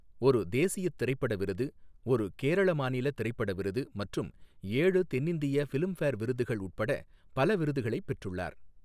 ஒரு தேசியத் திரைப்பட விருது, ஒரு கேரள மாநில திரைப்பட விருது மற்றும் ஏழு தென்னிந்திய பிலிம்பேர் விருதுகள் உட்பட பல விருதுகளைப் பெற்றுள்ளார்.